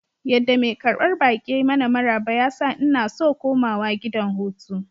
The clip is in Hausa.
Yadda mai karbar baki ya yi mana maraba ya sa inna so komawa gidan hutu.